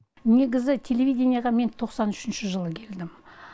негізі телевиденияға мен тоқсан үшінші жылы келдім